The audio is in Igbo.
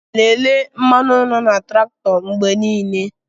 Lelee mmanụ na traktọ mgbe niile.